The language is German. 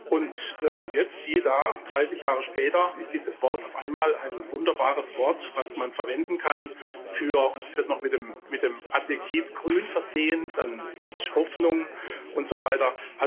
Und jetzt, siehe da, dreißig Jahre später ist dieses Wort auf einmal ein wunderbares Wort, das man verwenden kann und es wird noch mit dem Adjektiv grün versehen, mit Hoffnung und so weiter.